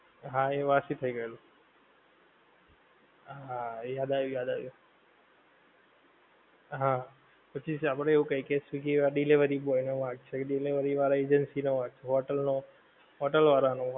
હા એ વાસી થઈ ગયેલું. હા એ યાદ આયવું યાદ આવી ગ્યું. હા પછી આપડે એવું કઈ કે સ્વીગી વાળાં delivery boy નો વાંક છે કે delivery વાળાં agency નો વાંક છે, હોટેલ નો, હોટેલ વાળાં નો,